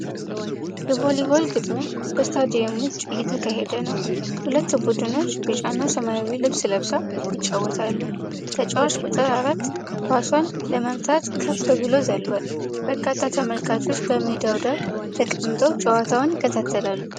የቮሊቦል ግጥሚያ በስታዲየም ውጪ እየተካሄደ ነው። ሁለት ቡድኖች ቢጫና ሰማያዊ ልብስ ለብሰው ይጫወታሉ። ተጫዋች ቁጥር አራት ኳሷን ለመምታት ከፍ ብሎ ዘሏል። በርካታ ተመልካቾች በሜዳው ዳር ተቀምጠው ጨዋታውን ይከታተላሉ።